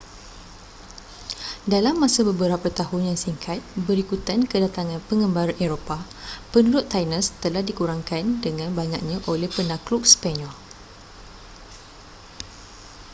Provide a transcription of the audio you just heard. dalam masa beberapa tahun yang singkat berikutan kedatangan pengembara eropah penduduk tainos telah dikurangkan dengan banyaknya oleh penakluk sepanyol